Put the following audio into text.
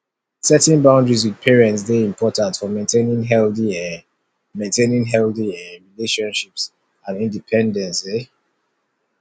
setting boundaries with parents dey important for maintaining healthy um maintaining healthy um relationships and independence um